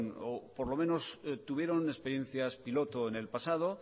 o por lo menos tuvieron experiencias piloto en el pasado